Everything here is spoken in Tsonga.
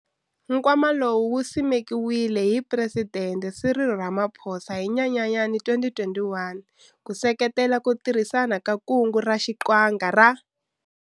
Nkwama lowu wu simekiwile hi Phuresidente Cyril Ramaphosa hi Nyenyanyana 2021, ku seketela ku tirhisiwa ka Kungu ra Xiqhinga ra.